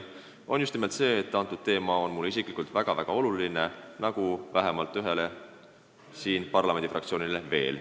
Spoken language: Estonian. Põhjus on just nimelt see, et see teema on väga-väga oluline mulle isiklikult ja vähemalt ühele parlamendifraktsioonile siin.